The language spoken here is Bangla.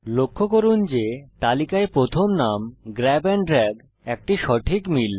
লক্ষ্য করুন যে তালিকায় প্রথম নাম গ্র্যাব এন্ড দ্রাগ একটি সঠিক মিল